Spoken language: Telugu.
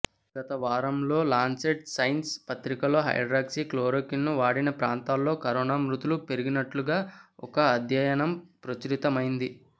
గత వారం లాన్సెట్ సైన్స్ పత్రికలో హైడ్రాక్సీ క్లోరోక్విన్ను వాడిన ప్రాంతాల్లో కరోనా మృతులు పెరిగినట్లుగా ఒక అధ్యయనం ప్రచురితమైంది